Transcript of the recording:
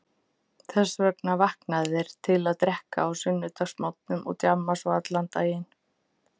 Þess vegna vakna þeir til að drekka á sunnudagsmorgnum og djamma svo allan daginn.